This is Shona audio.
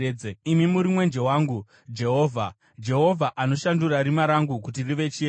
Imi muri mwenje wangu, Jehovha; Jehovha anoshandura rima rangu kuti rive chiedza.